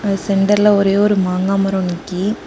சென்டர்ல ஒரே ஒரு மாங்கா மரோ நிக்கி.